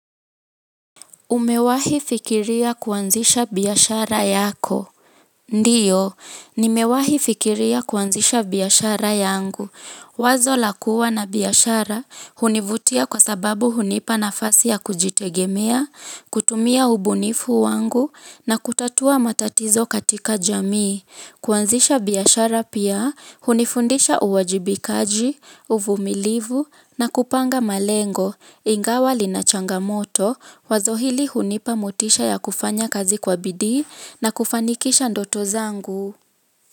Umewahi fikiria kuanzisha biashara yako ndio nimewahi fikiria kuanzisha biashara yangu wazo la kuwa na biashara hunivutia kwa sababu hunipa nafasi ya kujitegemea kutumia ubunifu wangu na kutatua matatizo katika jamii kuanzisha biashara pia, hunifundisha uwajibikaji, uvumilivu na kupanga malengo, ingawa linachanga moto, wazo hili hunipa motisha ya kufanya kazi kwa bidii na kufanikisha ndoto zangu.